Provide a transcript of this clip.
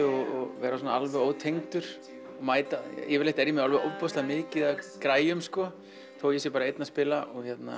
og vera svona alveg ótengdur mæta yfirleitt er ég með ofboðslega mikið af græjum þó ég sé bara einn að spila